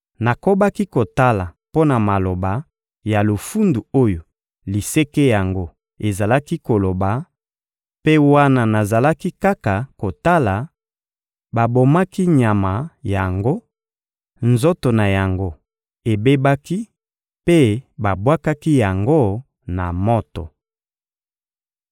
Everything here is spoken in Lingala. Nakobaki kotala mpo na maloba ya lofundu oyo liseke yango ezalaki koloba; mpe wana nazalaki kaka kotala, babomaki nyama yango, nzoto na yango ebebaki mpe babwakaki yango na moto.